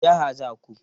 Wace jiha za ku?